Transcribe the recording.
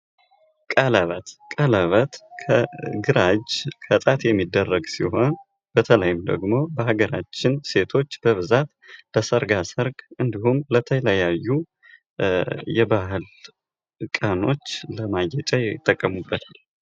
ቀለበት:- ቀለበት ከግራ እጅ የሚደረግ ሲሆን በተለይም ደግሞ በሀገራችን ሴቶች በብዛት በሰርጋ ሰርግ እንዲሁም ለተለያዩ የባዕል ቀኖች ለማጌጫ ይጠቀሙበታል።